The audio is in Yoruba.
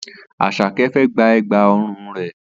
Asake fẹ́ gba Ẹ̀gbá ọrùn rẹ̀